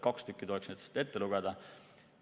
Kaks neist tuleks ette lugeda.